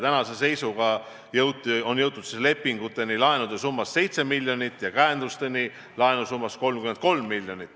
Tänase seisuga on jõutud lepinguteni laenusummas 7 miljonit ja käendusteni summas 33 miljonit.